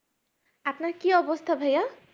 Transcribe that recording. আপনার কি অবস্থা ভাইয়া